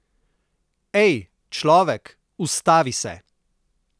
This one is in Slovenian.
Ej, človek, ustavi se!